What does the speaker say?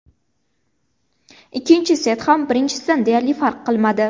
Ikkinchi set ham birinchisidan deyarli farq qilmadi.